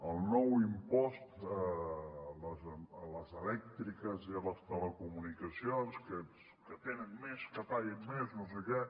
el nou impost a les elèctriques i a les telecomunicacions els que tenen més que paguin més no sé què